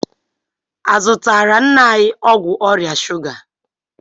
A zụtaara nna anyị ọgwụ ọrịa shuga?